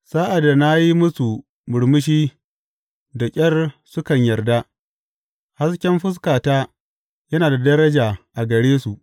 Sa’ad da na yi musu murmushi da ƙyar sukan yarda; hasken fuskata yana da daraja a gare su.